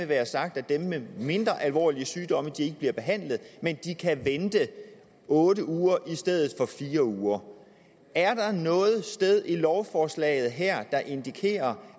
være sagt at dem med mindre alvorlige sygdomme ikke bliver behandlet men de kan vente otte uger i stedet for fire uger er der noget sted i lovforslaget her der indikerer